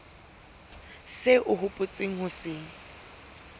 seo o hopotseng ho se